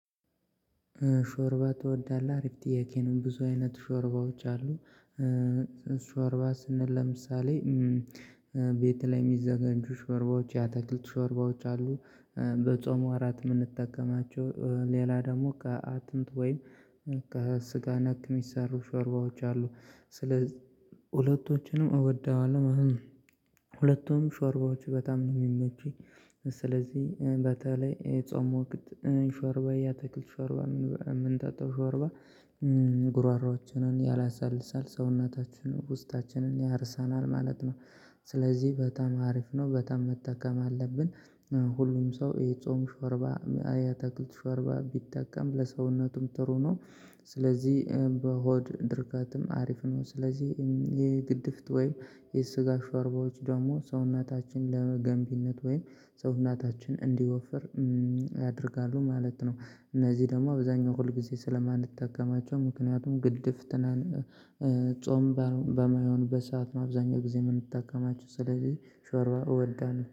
ሾርባ ትወዳለህ አሪፍ ጥያቄ ነው ብዙ አይነት ሾርባዎች አሉ። ሾርባ ስንል ለምሳሌ ቤት ላይ የሚዘጋጁ ሾርባዎች የአትክልት ሾርባዎች አሉ። በጾም ወራት የምንጠቀማቸው ሌላ ደግሞ ከአጥንት ወይም ከስጋ ነክ የሚሰሩ ሾርባዎች አሉ። ስለዚህ ሁለቶችንም እወደዋለሁ ሁለቱም ሾርባዎች በጣም ነው የሚመቹኝ። ስለዚህ በተለይ የጾም ወቅት ሾርባ የአትክል ሾርባ ምንጠ ጣው ሾርባ ጉሮሮአችንን ያላሳልሳል ሰውነታችንን ውስጣችንን ያርሰናል ማለት ነው። ስለዚህ በጣም ሀሪፍ ነው በጣም መጠቀም አለብን። ሁሉም ሰው የጾም ሾርባ የአትክልት ሾርባ ቢጠቀም ለሰውነቱም ጥሩ ነው። ስለዚህ በሆድ ድርቀትም ሀሪፍ ነው። ስለዚህ የግድፍት ወይም የስጋ ሾርባዎች ደግሞ ሰውነታችን ለገንቢነት ወይም ሰውናታችን እንዲወፍር ያደርጋሉ ማለት ነው። እነዚህ ደግሞ አብዛኛው ሁልጊዜ ስለማንጠቀማቸው ምክንያቱም ግድፍት ትናንት ጾም በማይሆንበት ሰዓት ነው አብዛኛው ጊዜ የምንጠቀማቸው ስለዚህ ሾርባ እወዳለሁ